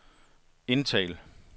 indtal